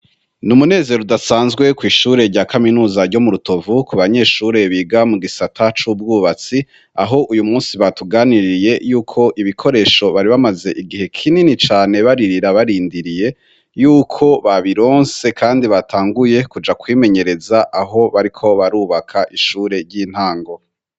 Ni umunezero udasanzwe kw'ishure rya kaminuza ryo mu rutovu ku banyeshure biga mu gisata c'ubwubatsi aho uyu musi batuganiriye yuko ibikoresho bari bamaze igihe kinini cane baririra barindiriye yuko babironse, kandi batanguye kuja kwimenyereza aho bariko barubaka ishurer intango.